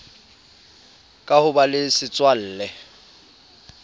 ka ho ba le setswalle